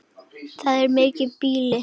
Það er mikið býli.